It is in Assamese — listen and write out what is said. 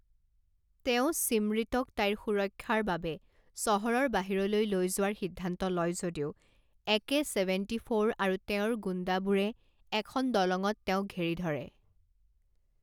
তেওঁ ছিমৰিতক তাইৰ সুৰক্ষাৰ বাবে চহৰৰ বাহিৰলৈ লৈ যোৱাৰ সিদ্ধান্ত লয় যদিও একে ছেভেণ্টী ফ'ৰ আৰু তেওঁৰ গুণ্ডাবোৰে এখন দলঙত তেওঁক ঘেৰি ধৰে।